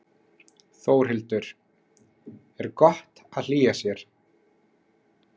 Þórhildur: Er gott að hlýja sér?